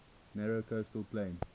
narrow coastal plain